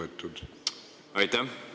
Aitäh!